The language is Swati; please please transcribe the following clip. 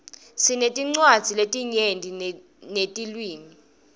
sinetincwadzi letinyenti netilwimi